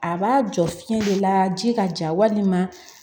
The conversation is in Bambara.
A b'a jɔ fiɲɛ de la ji ka ja walima